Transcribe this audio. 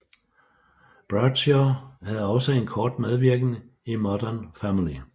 Bradshaw havde også en kort medvirken i Modern Family